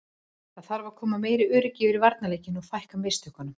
Það þarf að koma meira öryggi yfir varnarleikinn og fækka mistökunum.